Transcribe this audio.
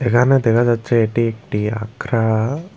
এহানে দেখা যাচ্ছে এটি একটি আখড়া।